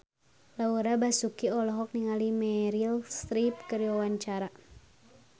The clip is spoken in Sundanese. Laura Basuki olohok ningali Meryl Streep keur diwawancara